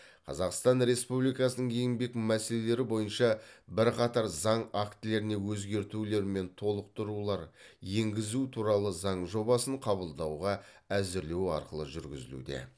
қазақстан республикасының еңбек мәселелері бойынша бірқатар заң актілеріне өзгертулер мен толықтырулар енгізу туралы заң жобасын қабылдауға әзірлеу арқылы жүргізілуде